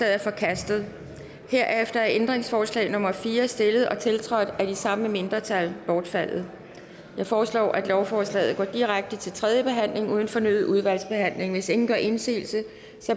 er forkastet herefter er ændringsforslag nummer fire stillet og tiltrådt af det samme mindretal bortfaldet jeg foreslår at lovforslaget går direkte til tredje behandling uden fornyet udvalgsbehandling hvis ingen gør indsigelse